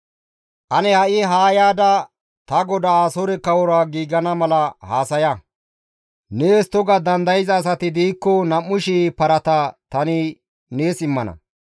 «Ane ha7i haa yaada ta godaa Asoore kawora giigana mala haasaya; nees toga dandayza asati diikko 2,000 parata tani nees immana.